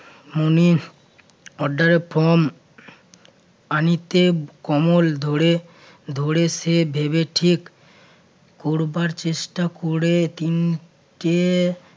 মনির ওরডারের ফরম পানিতে কমল ধরে~ ধরে সে ভেবে ঠিক করবার চেষ্টা করে